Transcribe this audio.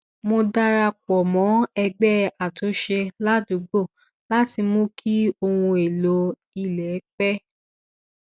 mo darapọ mọ ẹgbẹ àtúnṣe ládùúgbò láti mú kí ohun èlò ilé pẹ